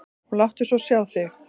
Og láttu svo sjá þig.